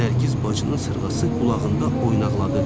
Nərgiz bacının sırğası qulağında oynaqladı.